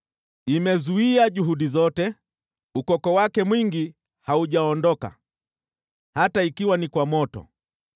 Imezuia juhudi zote, ukoko wake mwingi haujaondoka, hata ikiwa ni kwa moto.